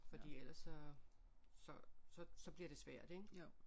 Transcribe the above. Fordi ellers så så så bliver det svært ik